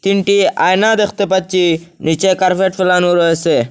তিনটি আয়না দেখতে পাচ্ছি নীচে কার্পেট ফেলানো রয়েসে।